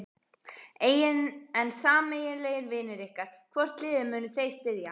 En sameiginlegir vinir ykkar, hvort liðið munu þeir styðja?